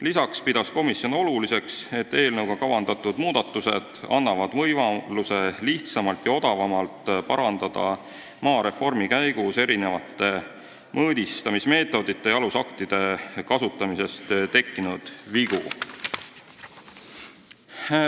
Lisaks peab komisjon oluliseks, et eelnõuga kavandatud muudatused annavad võimaluse lihtsamalt ja odavamalt parandada maareformi käigus erinevate mõõdistamismeetodite ja alusaktide kasutamisest tekkinud vigu.